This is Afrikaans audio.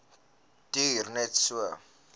duur net so